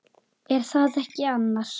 Er það ekki annars?